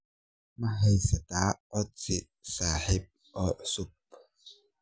Ma haystaa codsi saaxiib oo cusub?